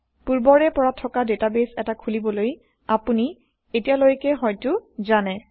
160পূৰ্বৰে পৰা থকা ডেটাবেইছ এটা খোলিবলৈ আপুনি এতিয়ালৈকে হয়তো জানে